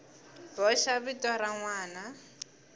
boxa vito ra n wana